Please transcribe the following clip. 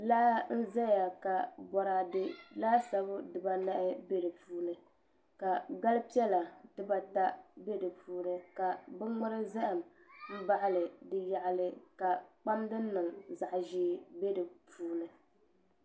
Laa n ʒɛya ka boraadɛ laasabu dibanahi bɛ di puuni ka gali piɛla dibata bɛ di puuni ka bi ŋmuri zaham n baɣali di yaɣali ka kpam din niŋ zaɣa ʒiɛ bɛ di puuni